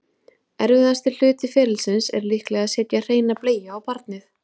erfiðasti hluti ferlisins er líklega að setja hreina bleiu á barnið